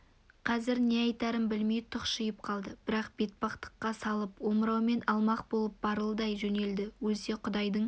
қазір не айтарын білмей тұқшиып қалды бірақ бетбақтыққа салып омыраумен алмақ болып барылдай жөнелді өлсе құдайдың